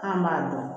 An b'a dɔn